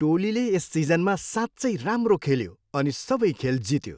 टोलीले यस सिजनमा साँच्चै राम्रो खेल्यो अनि सबै खेल जित्यो।